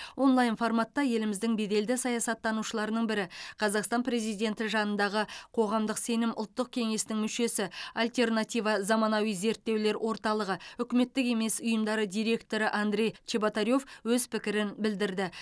онлайн форматта еліміздің беделді саясаттанушыларының бірі қазақстан президенті жанындағы қоғамдық сенім ұлттық кеңесінің мүшесі альтернатива заманауи зерттеулер орталығы үкіметтік емес ұйымдары директоры андрей чеботарев өз пікірін білдірді